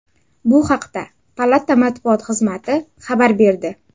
Bu haqda palata matbuot xizmati xabar berdi.